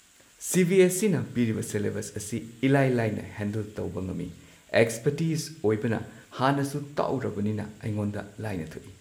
ꯁꯤ B S E ꯅ ꯄꯤꯔꯤꯕ ꯁꯦꯂꯦꯕꯁ ꯑꯁꯤ ꯏꯂꯥꯏ ꯂꯥꯏꯅ ꯍꯦꯟꯗꯜ ꯇꯧꯕ ꯉꯝꯃꯤ꯫ ꯑꯦꯛ꯭ꯁꯄꯔꯇꯤꯁ ꯑꯣꯏꯕꯅ ꯍꯥꯟꯅꯁꯨ ꯇꯥꯛꯎꯔꯕꯅꯤꯅ ꯑꯩꯉꯣꯟꯗ ꯂꯥꯏꯅ ꯊꯣꯛꯏ꯫